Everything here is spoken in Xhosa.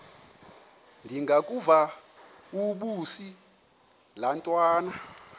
ndengakuvaubuse laa ntwana